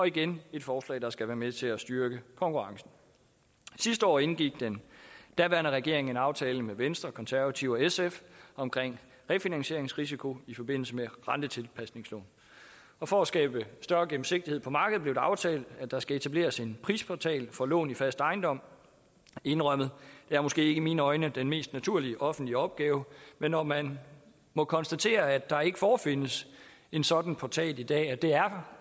igen et forslag der skal være med til at styrke konkurrencen sidste år indgik den daværende regering en aftale med venstre konservative og sf om refinansieringsrisiko i forbindelse med rentetilpasningslån og for at skabe større gennemsigtighed på markedet blev det aftalt at der skal etableres en prisportal for lån i fast ejendom indrømmet det er måske i mine øjne ikke den mest naturlige offentlige opgave men når man må konstatere at der ikke forefindes en sådan portal i dag og at det er